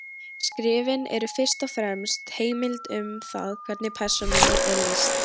Skrifin eru fyrst og fremst heimild um það hvernig persónunni er lýst.